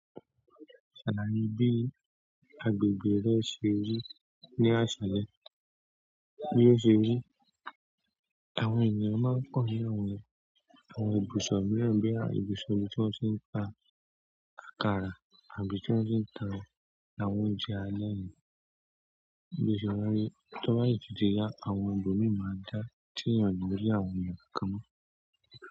Ṣàlàyé bí agbègbè rẹ ṣe rí ní àṣálẹ. Bí ó ṣe rí, àwọn ènìyàn máa ń pọ ní àwọn, àwọn ibùsọ̀ mìíràn boya ibùsọ̀ ibi tí wọ́n ti ń ta àkàrà àbí tí wọ́n ti ń ta àwọn oúnjẹ alẹ́ yìí. Ibùsọ̀ wá ní, to ba si tun ti ya àwọn ibo mii maa dá teeyan o ni rí àwọn èèyàn kankan mọ́.